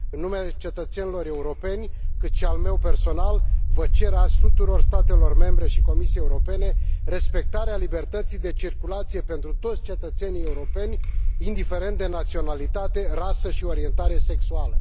În numele cetățenilor europeni, cât și al meu personal, cer azi tuturor statelor membre și Comisiei Europene respectarea libertății de circulație pentru toți cetățenii europeni, indiferent de naționalitate, rasă și orientare sexuală.